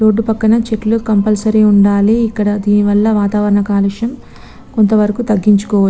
road పక్క్కన చేతుల్లు compulsory వుండాలి ఇక్కడ ధీని వల్ల వాతావరణం కల్లుశం కొంత వారకి తగిన్చుకోవా --